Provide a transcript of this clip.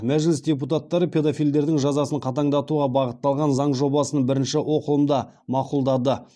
мәжіліс депутаттары педофилдердің жазасын қатаңдатуға бағытталған заң жобасын бірінші оқылымда мақұлдады